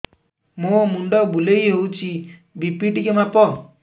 ମୋ ମୁଣ୍ଡ ବୁଲେଇ ହଉଚି ବି.ପି ଟିକେ ମାପ